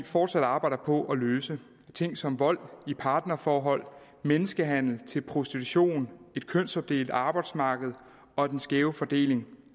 fortsat arbejder på at løse ting som vold i partnerforhold menneskehandel til prostitution et kønsopdelt arbejdsmarked og den skæve fordeling